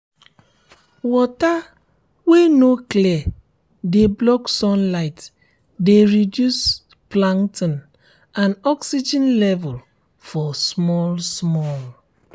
water wey um no clear de um block sunlighte de reduce plankton and oxygen level for small small